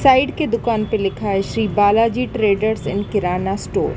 Side के दुकान पे लिखा है Shri Balaji traders and kirana store.